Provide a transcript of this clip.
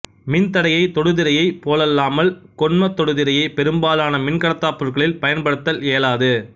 மின்தடைய தொடுதிரையை போலல்லாமல் கொண்ம தொடுதிரையை பெரும்பாலான மின்கடத்தாப் பொருட்களில் பயன்படுத்தல் இயலாது